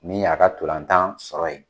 Min y'a ka ntolatan sɔrɔ ye